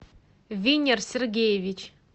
виннер сергеевич